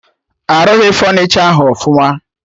Arụghị fọnichọ ahụ ọfụma